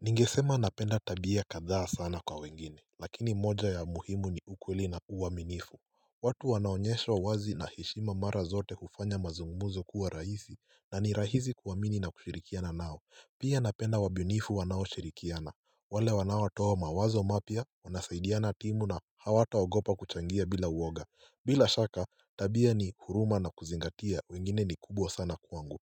Ningesema napenda tabia kadhaa sana kwa wengine lakini moja ya muhimu ni ukweli na uwaminifu watu wanaonyesha wazi na hishima mara zote hufanya mazungumzo kuwa rahisi na ni rahisi kuamini na kushirikiana nao Pia napenda wabunifu wanao shirikiana wale wanawa toa mawazo mapya wanasaidiana timu na hawataogopa kuchangia bila uwoga bila shaka tabia ni huruma na kuzingatia wengine ni kubwa sana kuangu